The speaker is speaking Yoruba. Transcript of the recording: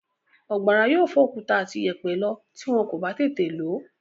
Ọ̀gbàrá yóò fọ òkúta àti ìyẹ̀pẹ̀ lọ tí wọ́n kò bá tètè lò ó.